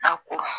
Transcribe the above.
A ko